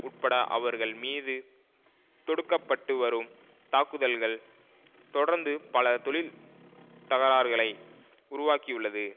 உட்பட அவர்கள் மீது தொடுக்கப்பட்டு வரும் தாக்குதல்கள் தொடர்ந்து பல தொழிற் தகராறுகளை உருவாக்கியுள்ளது